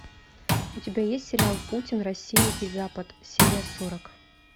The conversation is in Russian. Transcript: у тебя есть сериал путин россия и запад серия сорок